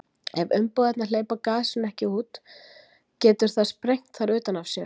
Ef umbúðirnar hleypa gasinu ekki út getur það sprengt þær utan af sér.